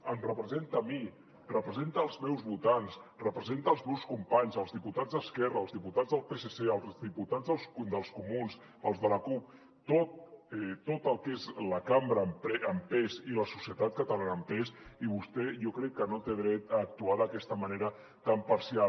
em representa a mi representa els meus votants representa els meus companys els diputats d’esquerra els diputats del psc els diputats dels comuns els de la cup tot el que és la cambra en pes i la societat catalana en pes i vostè jo crec que no té dret a actuar d’aquesta manera tan parcial